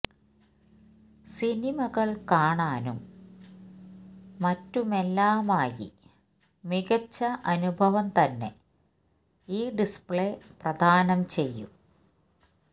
സിനിമകൾ കാണാനും മാറ്റുമെല്ലാമായി മികച്ച അനുഭവം തന്നെ ഈ ഡിസ്പ്ളേ പ്രദാനം ചെയ്യും